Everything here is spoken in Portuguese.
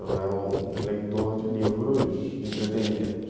Eu era um leitor de livros de entretenimento.